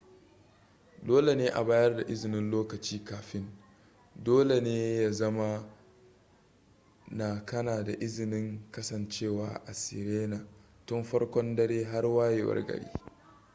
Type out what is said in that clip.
dole ne a bayar da izinin lokaci kafin dole ne ya zama na kana da izinin kasancewa a sirena tun farkon dare har wayewar gari